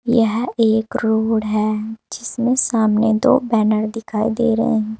यह एक रोड है जिसमें सामने दो बैनर दिखाई दे रहे हैं।